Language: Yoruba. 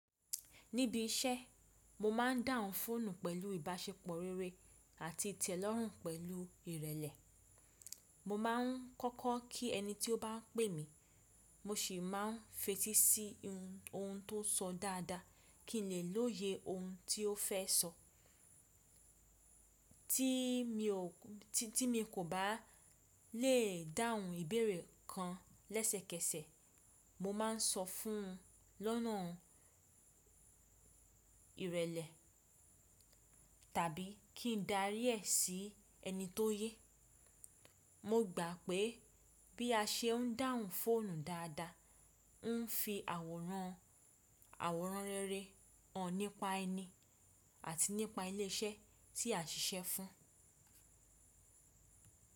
Níbi iṣẹ́, mo máa ń dáhùn fóònù pẹ̀lú ìbáṣepọ̀ rere àti ìtẹ́lọ́rùn pẹ̀lú ìrẹlẹ. Mo máà ń kọ́kọ́ kí ẹni tí ó bá pè mí, mo sì máà ń fetí sí ohun tó sọ dáadáa kí n lè lóye ohun tí ó fẹ́ sọ. Tí mi kò bá lè dáhùn ìbéèrè kan lẹ́sẹ̀kẹsẹ̀, mo máà ń sọ fún un lọ́nà ìrẹlẹ tàbí kí n darí ẹ sí ẹni tó yẹ. Mo gbà pé bí a ṣe ń dáhùn fóònù dáadáa, ń fi àwòrán rere hàn nípa ẹni àti nípa ilé iṣẹ́ tí a ṣiṣẹ́ fún.